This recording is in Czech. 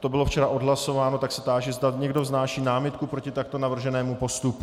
to bylo včera odhlasováno, tak se táži, zda někdo vznáší námitku proti takto navrženému postupu.